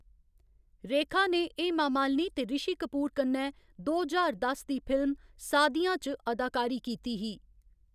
रेखा ने हेमा मालिनी ते रिशी कपूर कन्नै दो ज्हार दस दी फिल्म सादियां च अदाकारी कीती ही।